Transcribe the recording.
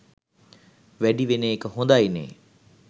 වැඩි වෙන එක හොඳයිනේ.